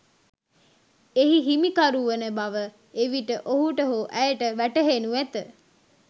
එහි හිමිකරු වන බව එවිට ඔහුට හෝ ඇයට වැටෙහෙනු ඇත.